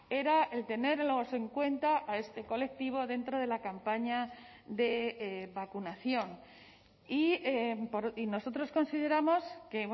era el tenerlos en cuenta a este colectivo dentro de la campaña de vacunación y nosotros consideramos que